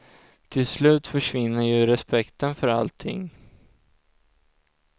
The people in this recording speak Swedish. Till slut förvinner ju respekten för allting.